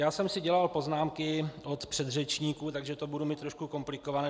Já jsem si dělal poznámky od předřečníků, takže to budu mít trošku komplikované.